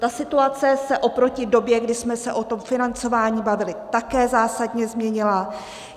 Ta situace se oproti době, kdy jsme se o tom financování bavili, také zásadně změnila.